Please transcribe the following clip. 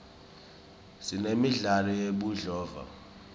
sinemidlalo yebudlova